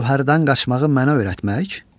Gövhərdən qaçmağı mənə öyrətmək?